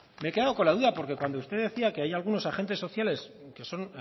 me he quedado con la duda porque cuando usted decía que hay algunos agentes sociales que son